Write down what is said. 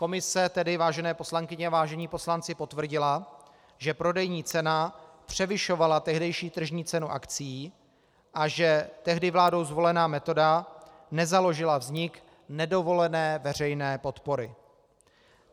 Komise tedy, vážené poslankyně a vážení poslanci, potvrdila, že prodejní cena převyšovala tehdejší tržní cenu akcií a že tehdy vládou zvolená metoda nezaložila vznik nedovolené veřejné podpory.